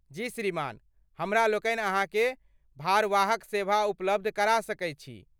जी श्रीमान, हमरा लोकनि अहाँके भारवाहक सेवा उपलब्ध करा सकैत छी।